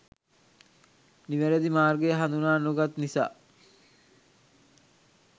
නිවරදි මාර්ගය හඳුනා නොගත් නිසා